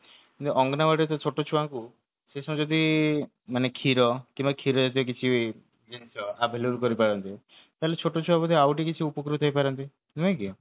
ଏମିତି ଅଙ୍ଗନବାଡିର ଯୋଉ ଛୋଟ ଛୁଆଙ୍କୁ ସେ ସମୟରେ ଯଦି କ୍ଷୀର କିମ୍ବା କ୍ଷୀର ସହିତ କିଛି ଜିନିଷ available କରି ପାରନ୍ତେ ତାହାଲେ ଛୋଟଛୁଆ ବୋଧେ ଆଉଟିକେ କିଛି ଉପକୃତ ହେଇପାରନ୍ତେ ନୁହେଁ କି